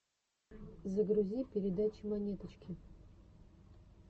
загрузи передачи монеточки